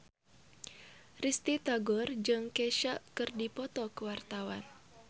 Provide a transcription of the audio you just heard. Risty Tagor jeung Kesha keur dipoto ku wartawan